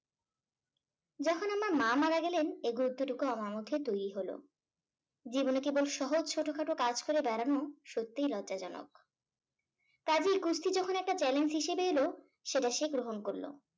আমার মা মারা গেলেন এ গুরত্ব টুকু আমার মধ্যে তৈরি হলো। জীবনে কেবল সহজ ছোটখাটো কাজ করে বেড়ানো সত্যিই লজ্জাজনক কাজেই কুস্তি যখন একটা challenge হিসাবে এলো সেটা সে গ্রহণ করলো।